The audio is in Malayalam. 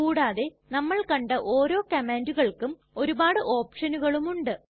കൂടാതെ നമ്മൾ കണ്ട ഓരോ കംമാണ്ടുകൾക്കും ഒരുപാട് ഓപ്ഷനുകളും ഉണ്ട്